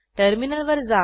टर्मिनलवर जा